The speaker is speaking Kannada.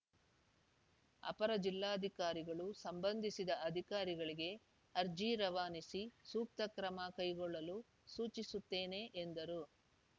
ಅಪರ ಜಿಲ್ಲಾಧಿಕಾರಿಗಳು ಸಂಬಂಧಿಸಿದ ಅಧಿಕಾರಿಗಳಿಗೆ ಅರ್ಜಿ ರವಾನಿಸಿ ಸೂಕ್ತ ಕ್ರಮ ಕೈಗೊಳ್ಳಲು ಸೂಚಿಸುತ್ತೇನೆ ಎಂದರು